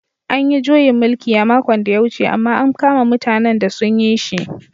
An yi juyin mulki a makon da ya wuce amma an kama mutanen da sun yi shi.